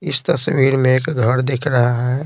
इस तस्वीर में एक घर दिख रहा है।